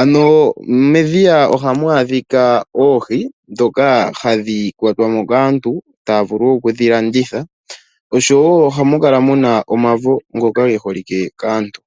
Ano medhiya ohamu adhika oohi ndhoka hadhi kwatwa mo kaantu, taya vulu oku dhi landitha. Oshowo ohamu kala omavo ngoka ge holike kaantu.